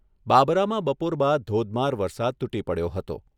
બાબરામાં બપોર બાદ ધોધમાર વરસાદ તૂટી પડયો હતો.